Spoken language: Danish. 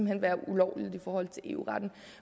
hen være ulovligt i forhold til eu retten